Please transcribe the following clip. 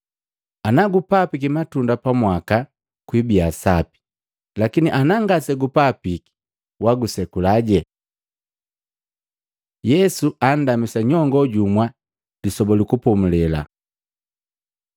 Ana gupapiki matunda pamwaka, kwibia sapi, lakini anangasegupapiki, wagusekula.’ ” Yesu andamisa nyongo jumwa Lisoba lu Kupomulela